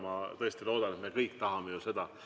Ma tõesti loodan, et me kõik tahame seda.